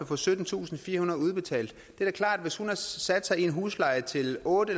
få syttentusinde og firehundrede kroner udbetalt hvis hun har sat sig til en husleje til otte